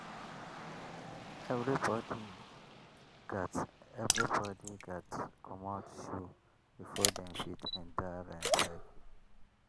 everybody gats everybody gats comot shoe before dem fit enter rain circle.